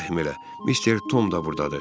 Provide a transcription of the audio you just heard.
Mister Tom da burdadır.